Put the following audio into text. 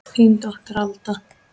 Þín dóttir, Alda.